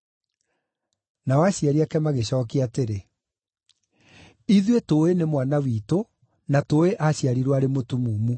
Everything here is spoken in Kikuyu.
Nao aciari ake magĩcookia atĩrĩ, “Ithuĩ tũũĩ nĩ mwana witũ na tũũĩ aaciarirwo arĩ mũtumumu.